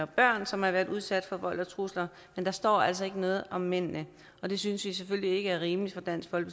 børn som har været udsat for vold og trusler men der står altså ikke noget om mændene det synes vi selvfølgelig ikke er rimeligt